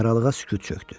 Aralığa sükut çökdü.